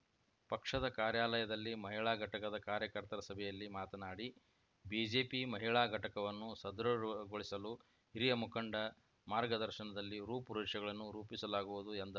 ಪಕ್ಷದ ಕಾರ್ಯಾಲಯದಲ್ಲಿ ಮಹಿಳಾ ಘಟಕದ ಕಾರ್ಯಕರ್ತರ ಸಭೆಯಲ್ಲಿ ಮಾತನಾಡಿ ಬಿಜೆಪಿ ಮಹಿಳಾ ಘಟಕವನ್ನು ಸದೃಢಗೊಳಿಸಲು ಹಿರಿಯ ಮುಖಂಡ ಮಾರ್ಗದರ್ಶನದಲ್ಲಿ ರೂಪುರೇಷಗಳನ್ನು ರೂಪಿಸಲಾಗುವುದು ಎಂದರು